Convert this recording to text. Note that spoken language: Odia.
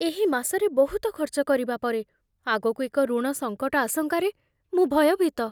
ଏହି ମାସରେ ବହୁତ ଖର୍ଚ୍ଚ କରିବା ପରେ, ଆଗକୁ ଏକ ଋଣ ସଙ୍କଟ ଆଶଙ୍କାରେ ମୁଁ ଭୟଭୀତ।